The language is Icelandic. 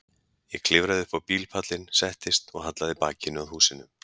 Ég klifraði upp á bílpallinn, settist og hallaði bakinu að húsinu.